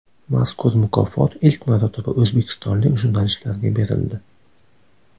Mazkur mukofot ilk marotaba o‘zbekistonlik jurnalistlarga berildi.